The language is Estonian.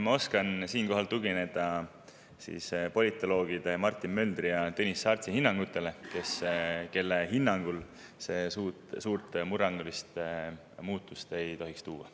Ma oskan siinkohal tugineda politoloogide Martin Möldri ja Tõnis Saartsi hinnangutele, kelle hinnangul see murrangulist muutust ei tohiks tuua.